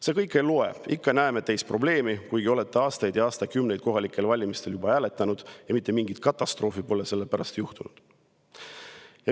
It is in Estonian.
See kõik ei loe, me ikka näeme teis probleemi, kuigi olete juba aastaid ja aastakümneid kohalikel valimistel hääletanud ja mitte mingit katastroofi pole sellepärast juhtunud.